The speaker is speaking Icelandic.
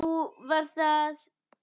Nú, var það?